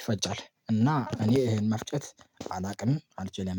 ይፈጫል እና እኔ ይሄን መፍጨት አላውቅም አልችልም